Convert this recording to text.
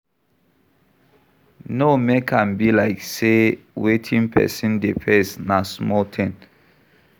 No make am be like sey wetin person dey face na small thing